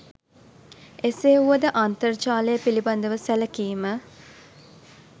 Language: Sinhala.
එසේ වුවද අන්තර්ජාලය පිළිබඳව සැළකීම